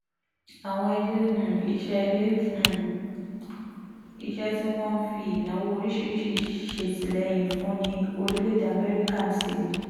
àwọn ilé um iṣẹ́ ilé um iṣẹ́ tí wọ́n ń fi ìnáwó oríṣiríṣi ṣètìlẹ́yìn fún ní orílẹ̀-èdè amẹ́ríkà ti